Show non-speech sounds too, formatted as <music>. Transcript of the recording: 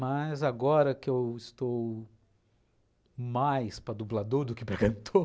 Mas agora que eu estou mais para dublador do que <laughs> para cantor,